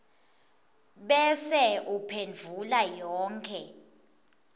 bese uphendvula yonkhe